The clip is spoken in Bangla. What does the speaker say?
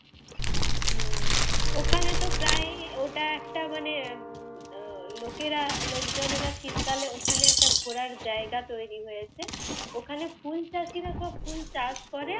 হম ওখানে তো প্রায়ই ওটা একটা মানে উহ লোকেরা লোকজনেরা শীতকালে ওখানে একটা ঘোরার জায়গা তৈরি হয়েছে। ওখানে ফুল চাষিরা সব ফুল চাষ করে,